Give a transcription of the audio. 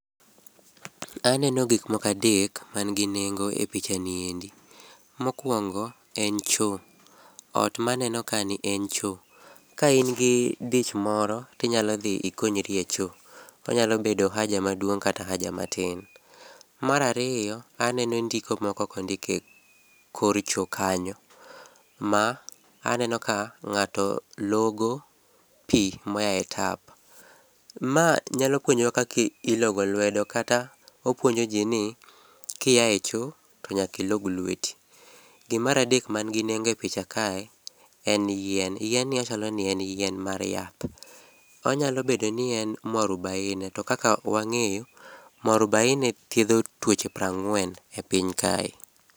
Aneno gik moko adek man gi nengo e pichani endi. Mokuongo en choo, ot maneno kaeni en choo. Ka in gi dich moro, tinyalo dhi ikonyri e choo. Onyalo bedo haja maduong' kata haja matin. Mar ariyo, aneno ndiko moko kondik ekor choo kanyo. Ma aneno ka ng'ato logo pi moa e tap. Ma nyalo puonjowa kaka ilogo lwedo kata opuonjo ji ni kia e cho to nyaka ilog lweti. Gi mar adek man gi nengo e picha kae, en yien , yien ni ochalo ni en yien mar yath. Onyalo bedo ni en Mwarubaine to kaka wang'eyo, Mwarubaine chiedho tuoche piero ang'wen e piny kae.